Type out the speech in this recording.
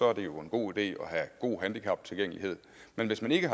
er det jo en god idé at have god handicaptilgængelighed men hvis man ikke